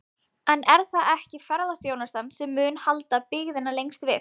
En er það ekki ferðaþjónustan sem mun halda byggðinni lengst við?